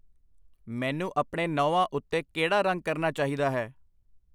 ਮੈਨੂੰ ਆਪਣੇ ਨਹੁੰਆਂ ਉੱਤੇ ਕਿਹੜਾ ਰੰਗ ਕਰਨਾ ਚਾਹੀਦਾ ਹੈ?